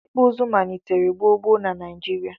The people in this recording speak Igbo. ikpụ izu manitere gbo gbo na Naijirịa